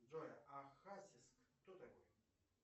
джой а хасис кто такой